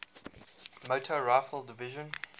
motor rifle division